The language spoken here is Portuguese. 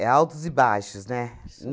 É altos e baixos, né?